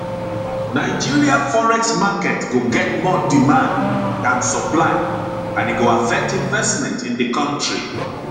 nigeria forex market go get more demand dan supply and e go affect investment in di kontri